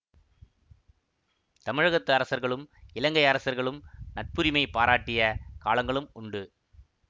தமிழகத்து அரசர்களும் இலங்கை அரசர்களும் நட்புரிமை பாராட்டிய காலங்களும் உண்டு